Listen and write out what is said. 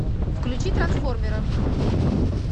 включи трансформеры